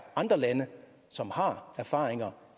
andre lande som har erfaringer